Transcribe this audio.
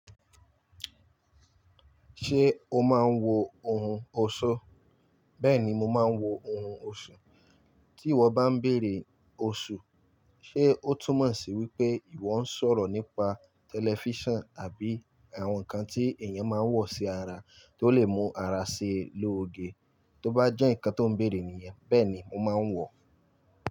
Ṣé o máa ń wo ohun ọ̀ṣọ́? Bẹ́ẹ̀ni mo máa ń wo ohun ọ̀ṣọ́. Tí ìwọ bá ń bèèrè oṣù, ṣe ó túmọ̀ sí wípé ìwọ ń sọ̀rọ̀ nípa tẹlifíṣàn àbí àwọn nǹkan tí èèyàn máa ń wọ̀ sí ara tó lè mú ara ṣe lóoge. Tó bá jẹ́ ǹkan tó ń bèèrè nìyẹn, bẹ́ẹ̀ni mo máa ń wọ̀ ọ́